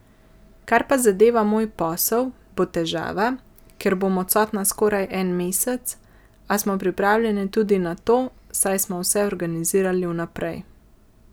Kar pa zadeva moj posel, bo težava, ker bom odsotna skoraj en mesec, a smo pripravljeni tudi na to, saj smo vse organizirali vnaprej.